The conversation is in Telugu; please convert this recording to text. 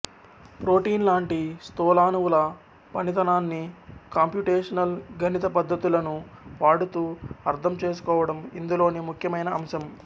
ప్రోటీన్ లాంటి స్థూలాణువుల పనితనాన్ని కాంప్యుటేషనల్ గణిత పద్ధతులను వాడుతూ అర్థం చేసుకోవటం ఇందులోని ముఖ్యమయిన అంశం